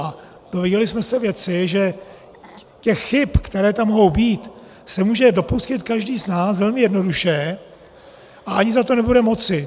A dozvěděli jsme se věci, že těch chyb, které tam mohou být, se může dopustit každý z nás velmi jednoduše a ani za to nebude moci.